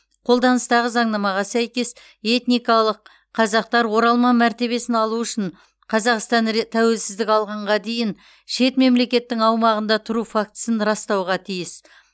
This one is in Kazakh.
қолданыстағы заңнамаға сәйкес этникалық қазақтар оралман мәртебесін алу үшін қазақстан ре тәуелсіздік алғанға дейін шет мемлекеттің аумағында тұру фактісін растауға тиіс